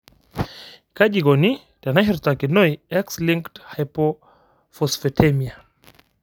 Kaji eikoni teneshurtakinoi X linked hypophosphatemia?